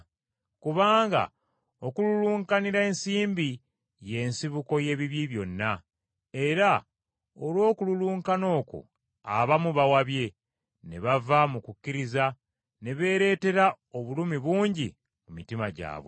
Kubanga okululunkanira ensimbi y’ensibuko y’ebibi byonna, era olw’okululunkana okwo abamu bawabye, ne bava mu kukkiriza, ne beereetera obulumi bungi mu mitima gyabwe.